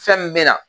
Fɛn min bɛ na